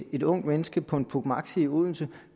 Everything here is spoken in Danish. et ungt menneske på en puch maxi i odense